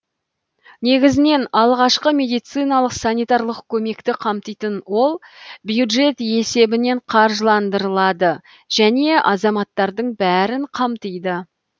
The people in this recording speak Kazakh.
негізінен алғашқы медициналық санитарлық көмекті қамтитын ол бюджет есебінен қаржыландырылады және азаматтардың бәрін қамтиды